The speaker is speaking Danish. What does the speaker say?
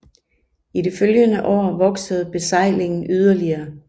I de følgende år voksede besejlingen yderligere